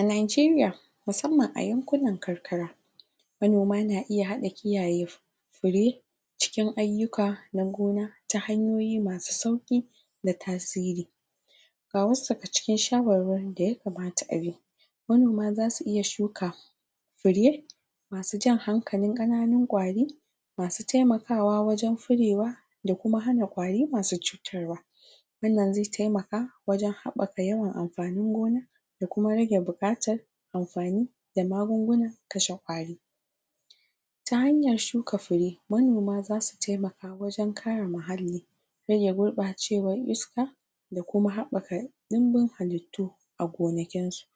a Nigeria musamman a yankunan karkara manoma na iya hada kiyaye fire cikin aiyuka na gona ta yanyoyi masu sauki da tasiri ga wasu daga cikin shawarwarin da ya kamata abi manoma zasu iya shuka fire masu jan hankalin kananun kwari masu taimakawa wajen furewa da kuma hana kwari masu tsutarwa wan nan zai taimaka wajen habaka yawan anfanin gona da kuma rage bukatan anfani da magungunan kashe kwari ta hanyan shuka fure manoma zasu taimaka wajen kare muhalli rage gurbacewan iska da kuma habaka dimbin halittu a gonakin su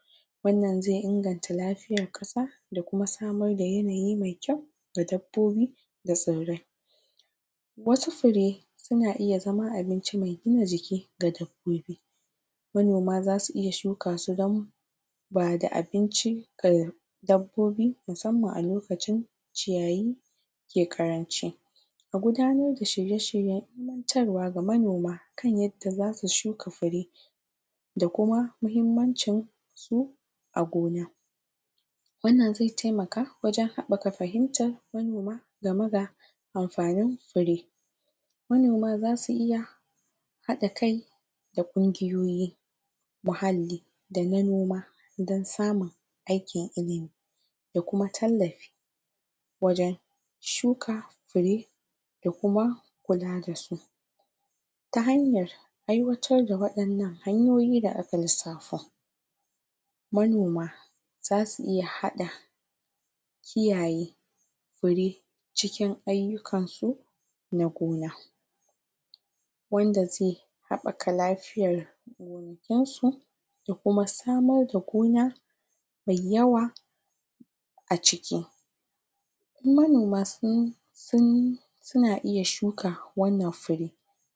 wan nan zai inganta lafian kasa da kuma samar da yanayi mai kyau ga dabbbobi da tsirrai wa su fure suna iya zama abinci, mai gina jiki ga dabbobi manoma zasu iya shukasu ramo ba da abinci kayar dabbobi musamman a lokacin ciyayi ke karanci an gudarar da shirye shiryen ilimantarwa ga manoma kan yadda zasu shuka fure da kuma muhimmancin su a gona wan nan zai taimaka wajen habbaka fahimtar manoma ga me da anfanin fure manoma za su iya hada kai da kungiyoyin muhallli da na noma dan samun da na noma, dan samun aikin ilimi da kuma tallafi wajen shuka fure da kuma kula da su ta hanyan aiwatar da wayannan hanyoyi da aka lissafa ma noma za su iya hada kiyaye fire cikin aiyukansu na gona wanda zai habaka lafiyan gonakin su da kuma samar da gona mai yawa a ciki in manoma sun sun suna iya shuka wan nan fure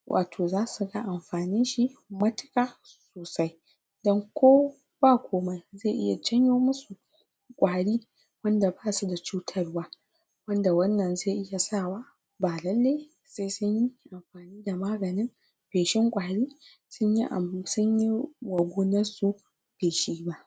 wato zasu ga anfanin shi matuka sosai dan ko ba komai zai iya janyomusu kwari wanda ba su da chutarwa wanda wan nan zai iya sawa ba lailai sai sunyi da maganin shefin kwarin sunyi abu, sun yi wa gonan su feshi ba